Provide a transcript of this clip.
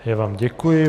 Já vám děkuji.